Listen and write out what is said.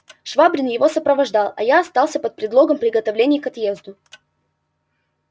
швабрин его сопровождал а я остался под предлогом приготовлений к отъезду